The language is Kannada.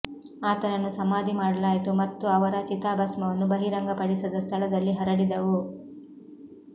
ಆತನನ್ನು ಸಮಾಧಿ ಮಾಡಲಾಯಿತು ಮತ್ತು ಅವರ ಚಿತಾಭಸ್ಮವನ್ನು ಬಹಿರಂಗಪಡಿಸದ ಸ್ಥಳದಲ್ಲಿ ಹರಡಿದವು